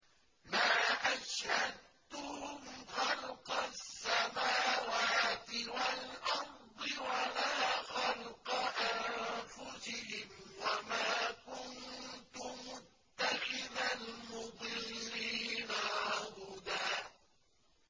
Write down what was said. ۞ مَّا أَشْهَدتُّهُمْ خَلْقَ السَّمَاوَاتِ وَالْأَرْضِ وَلَا خَلْقَ أَنفُسِهِمْ وَمَا كُنتُ مُتَّخِذَ الْمُضِلِّينَ عَضُدًا